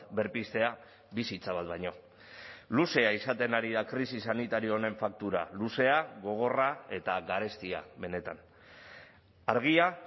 berpiztea bizitza bat baino luzea izaten ari da krisi sanitario honen faktura luzea gogorra eta garestia benetan argia